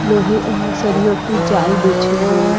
लोहे सरियों की जाल बिछी हुई--